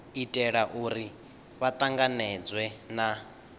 itela uri vha tanganedzwe na